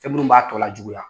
Fɛn minnu b'a tɔ lajuguya